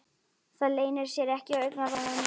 Það leynir sér ekki á augnaráðinu.